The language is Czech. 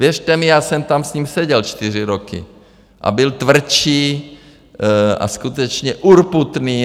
Věřte mi, já jsem tam s ním seděl čtyři roky a byl tvrdý a skutečně urputný.